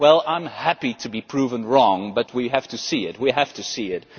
Well, I am happy to be proved wrong, but we have to see it.